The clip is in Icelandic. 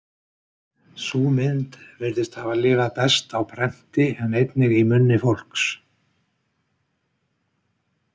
Sú mynd virðist hafa lifað best á prenti en einnig í munni fólks.